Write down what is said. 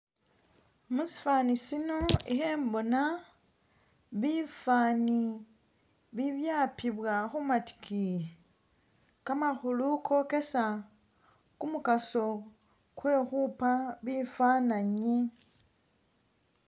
Musifani sino ikhembona bifaani bibyapibwa khu matikiiyi kamakhulu kokesa kumukaso kwe khupa bifananyi